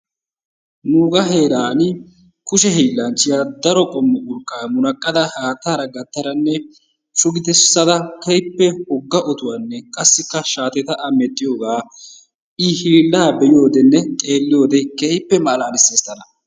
Nuugaa heeran kushe hiillanchchiya daro qommo urqqaa munaqqada haattaara gattadanne shugissada keehippe wogga otuwanne qassikka shaateta A medhdhiyogaa I hiillaa be'iyodenne be'iyode keehippe malaalissees tana.